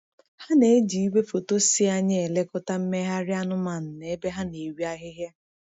Ha na-eji igwefoto si anya elekọta mmegharị anụmanụ na ebe ha na-eri ahịhịa.